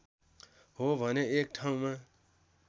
हो भने एक ठाउँमा